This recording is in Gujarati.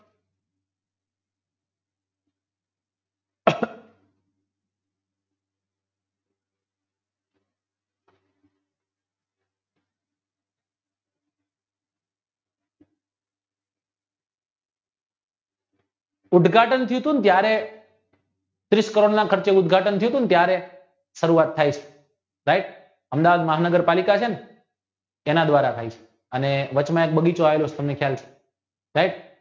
ઉદધાટન થયું તું ને ત્યારે ત્રીસ કરોડના ખર્ચે ઉદ્ઘાટન થયું તું ને ત્યારે રસરૂઆત થાય છે right અમદાવાદમાં નગરપાલિકા છેને એના દ્વારા થાય છે અને વચમાં એક બગીચો આવેલો છે તમને ખ્યાલ છે right